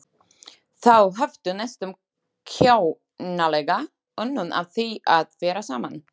Þau höfðu næstum kjánalega unun af því að vera saman.